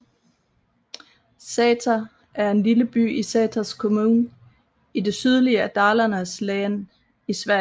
Säter er en lille by i Säters kommun i det sydlige af Dalarnas län i Sverige